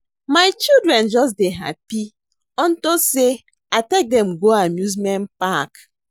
My children just dey happy unto say I take dem go amusement park